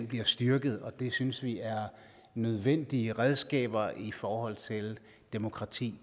bliver styrket og det synes vi er nødvendige redskaber i forhold til demokrati